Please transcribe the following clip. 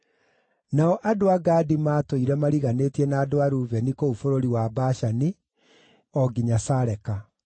Nao andũ a Gadi maatũũire mariganĩtie na andũ a Rubeni kũu bũrũri wa Bashani, o nginya Saleka: